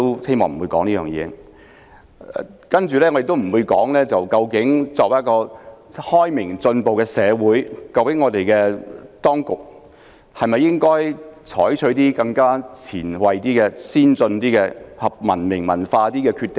此外，我也不會討論，作為一個開明進步的社會，究竟當局應否採取比較前衞、先進、合乎文明和文化準則的決定？